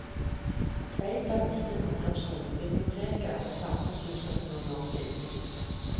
Tveita mistet ungdomsskolen, biblioteket og samfunnshuset for noen år siden.